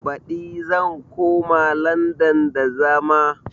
Baɗi zan koma landan da zama